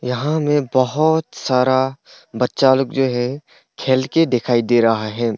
यहां मैं बहुत सारा बच्चा लोग जो है खेल के दिखाई दे रहा है।